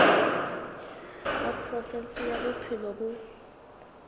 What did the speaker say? wa provinse ya bophelo bo